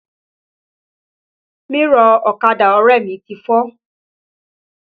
Mírọ̀ ọ̀kadà ọrẹ mi ti fọ́